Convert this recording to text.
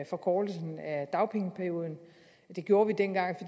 forkortelsen af dagpengeperioden det gjorde vi dengang